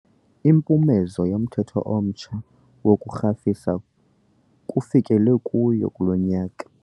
Impumezo yomthetho omtsha wokurhafisa kufikelelwe kuyo kulo nyaka.